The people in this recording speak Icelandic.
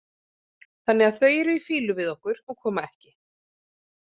Þannig að þau eru í fýlu við okkur og koma ekki.